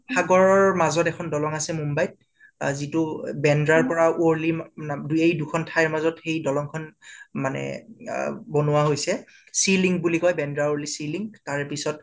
সাগৰৰ মাজত এখন দলং আছে মুম্বাইত যিটো বেন্দ্ৰাৰ পৰা ৱৰ্লি দিয়েই দুখন ঠাইৰ সেই মাজত দলংখন মানে আ বনোৱা হৈছে। sea link বুলি কয় বেন্দা ৱলি sea link। তাৰ পিছত